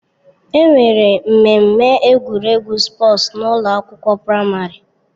Enwere mmemme egwuregwu spọọs n'ụlọ akwụkwọ praịmarị.